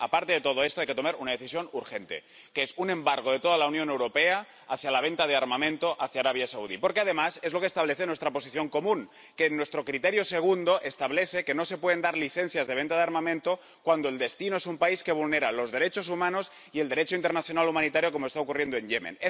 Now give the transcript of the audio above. Aparte de todo esto, hay que tomar una decisión urgente el embargo de toda la Unión Europea a la venta de armamento a Arabia Saudí, porque, además, es lo que establece nuestra Posición común, que, en nuestro criterio segundo, establece que no se pueden dar licencias de venta de armamento cuando el destino es un país que vulnera los derechos humanos y el Derecho internacional humanitario, como está ocurriendo en Yemen.